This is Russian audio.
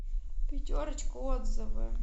пятерочка отзывы